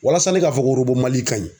Walasa ne k'a fɔ ko MALI ka ɲi.